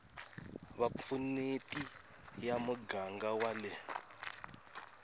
vupfuneti ya muganga wa le